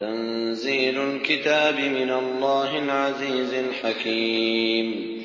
تَنزِيلُ الْكِتَابِ مِنَ اللَّهِ الْعَزِيزِ الْحَكِيمِ